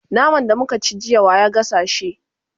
naman da muka ci jiya wa ya gasa shi?